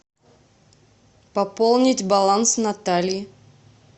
пополнить баланс натальи